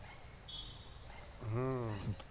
হম